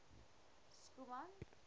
schoeman